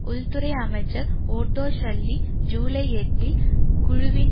உள்துறை அமைச்சர் Otto Schily ஜூலை எட்டில் குழுவின்